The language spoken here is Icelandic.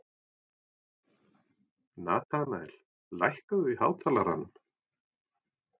Natanael, lækkaðu í hátalaranum.